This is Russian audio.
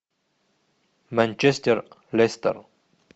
манчестер лестер